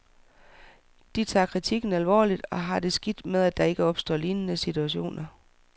De tager kritikken alvorligt og har taget skridt til, at der ikke opstår lignende situationer.